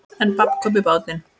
En babb kom í bátinn.